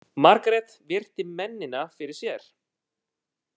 Margrét virti mennina fyrir sér.